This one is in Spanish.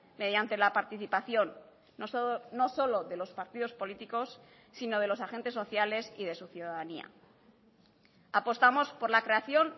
mediante la participación no solo de los partidos políticos sino de los agentes sociales y de su ciudadanía apostamos por la creación